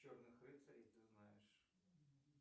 черных рыцарей ты знаешь